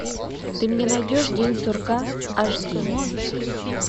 ты мне найдешь день сурка аш ди